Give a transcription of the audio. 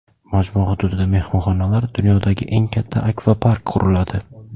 Majmua hududida mehmonxonalar, dunyodagi eng katta akvapark quriladi.